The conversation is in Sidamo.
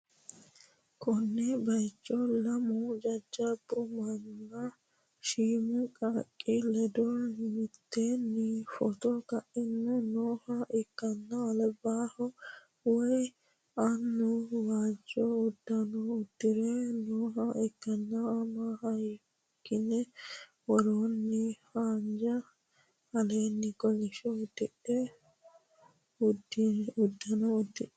konne bayicho lamu jajjabbu manninna shiimu qaaqqi ledo mitteenni footo ka'anni nooha ikkanna, labbahu woy annu waajjo uddano uddi're nooha ikkanna, ama kayiinni woroonni waajji aleenni kolishsho uddano uddidhe noote.